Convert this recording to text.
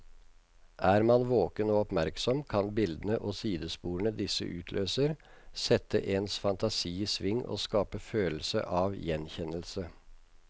Er man våken og oppmerksom, kan bildene og sidesporene disse utløser, sette ens fantasi i sving og skape følelse av gjenkjennelse.